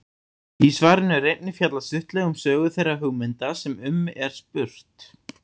Í svarinu er einnig fjallað stuttlega um sögu þeirra hugmynda sem um er spurt.